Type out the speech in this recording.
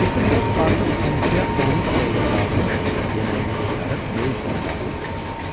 Mr Foq artıq 12-yə 13 dəqiqə qalmış yeməyini qurtarıb böyük zala daxil olmuşdu.